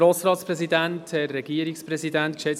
Kommissionssprecher